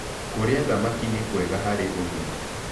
Kũrĩa thamakĩ nĩ kwega harĩ ũgima